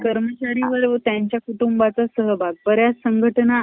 कर्मचारी बरोबरच त्याच्या कुटुंबाचा सहभाग बऱ्याच संघटना ,